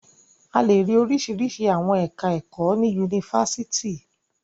A lè rí oríṣiríṣi àwọn ẹ̀ka-ẹ̀kọ́ ní Yunifásítì.